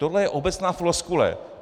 Tohle je obecná floskule.